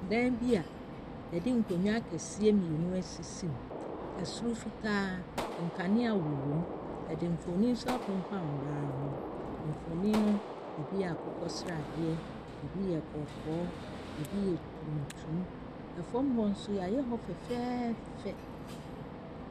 Dan bi a wɔde nkonnwa akɛseɛ mmienu asisim. Soro fitaa. Nkanea wowɔ mo. Wɔde mfonin nso afemfam ban ho. Mfonin no, ebi yɛ akokɔ sradeɛ, ebi yɛ kɔkɔɔ, ebi yɛ tuntum. Fam hɔ nso, wɔayɛ hɔ fɛɛfɛɛfɛ.